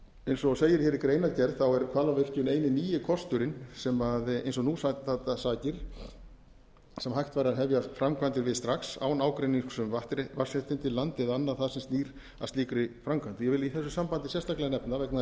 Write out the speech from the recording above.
eins og segir hér í greinargerð er hvalárvirkjun eini nýi kosturinn sem eins og nú standa sakir væri hægt að hefja framkvæmdir við strax án ágreinings um vatnsréttindi land eða annað það sem snýr að slíkri framkvæmd ég vil í þessu sambandi sérstaklega nefna vegna